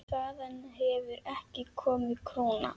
Þaðan hefur ekki komið króna.